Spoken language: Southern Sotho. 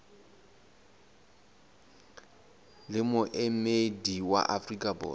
le moemedi wa afrika borwa